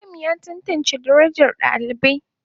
Malam ya tantance darajar dalibai.